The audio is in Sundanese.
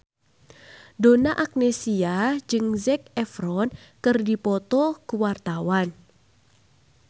Donna Agnesia jeung Zac Efron keur dipoto ku wartawan